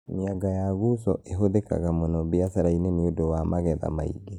Mĩanga ya guzo ĩhũthĩkaga mũno mbiacara-inĩ nĩ ũndũ wa magetha maingĩ